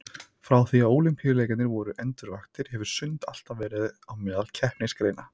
Frá því að Ólympíuleikarnir voru endurvaktir hefur sund alltaf verið á meðal keppnisgreina.